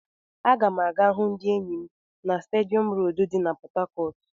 Aga m aga hụ ndị enyi m na stadium road di na Port Harcourt.